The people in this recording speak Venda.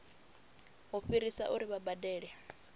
u fhirisa uri vha badele